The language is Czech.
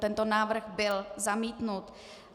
Tento návrh byl zamítnut.